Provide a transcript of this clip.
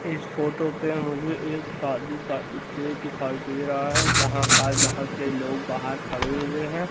इस फोटो पे मुझे एक शादी का स्टेज दिखाई दे रहा है जहां पर बहोत से लोग बाहर खड़े हुए हैं।